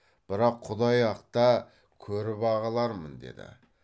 бірақ құдай ақта көріп ақ алармын деді